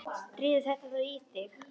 Drífðu þetta þá í þig.